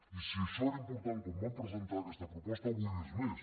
i si això era important quan vam presentar aquesta proposta avui ho és més